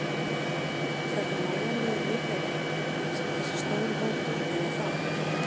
Er þetta nægjanlegur lífeyri sem þessi stóri hópur er að fá?